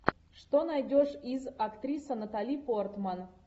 что найдешь из актриса натали портман